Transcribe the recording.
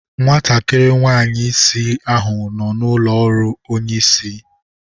Nwatakịrị nwanyị isi ahụ nọ n'ụlọ ọrụ onye isi.